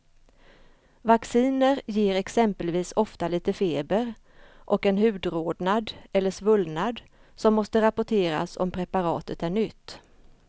Vacciner ger exempelvis ofta lite feber och en hudrodnad eller svullnad som måste rapporteras om preparatet är nytt.